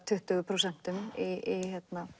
tuttugu prósent í